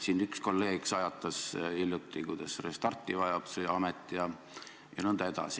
Siin üks kolleeg sajatas hiljuti, kuidas see amet vajab restarti jne.